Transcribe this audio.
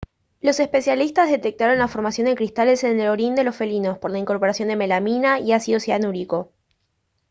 los especialistas detectaron la formación de cristales en el orín de los felinos por la incorporación de melamina y ácido cianúrico